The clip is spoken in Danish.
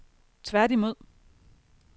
tværtimod